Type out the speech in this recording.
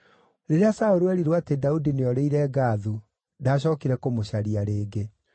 Rĩrĩa Saũlũ eerirwo atĩ Daudi nĩorĩire Gathu, ndaacookire kũmũcaria rĩngĩ.